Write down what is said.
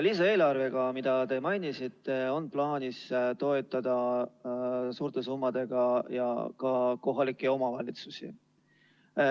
Lisaeelarvega, mida te mainisite, on plaanis toetada suurte summadega ka kohalikke omavalitsusi.